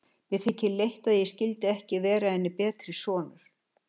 Mér þykir leitt, að ég skyldi ekki vera henni betri sonur.